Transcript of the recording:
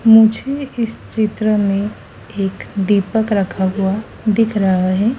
मुझे इस चित्र में एक दीपक रखा हुआ दिख रहा है।